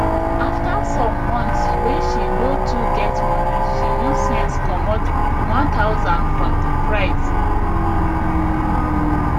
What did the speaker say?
after some months wey she no too get money she use sense comot 1000 from di price